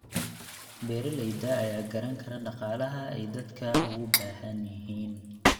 Beeralayda ayaa garan kara dhaqaalaha ay aadka ugu baahan yihiin.